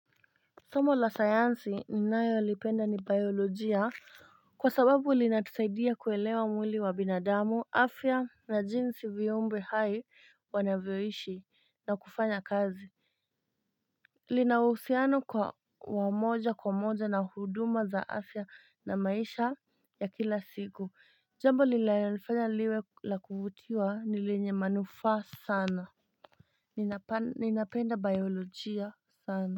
Somo la sayansi ninayolipenda ni biolojia, kwa sababu lilinatusaidia kuelewa mwili wa binadamu, afya na jinsi viumbe hai wanavyoishi na kufanya kazi lina uhusiano kwa wa moja kwa moja na huduma za afya na maisha ya kila siku, jambo linalofanya liwe lakuvutiwa, ni lenye manufaa sana, ninapenda biolojia sana.